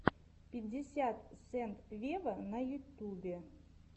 пятьдесят сент вево на ютубе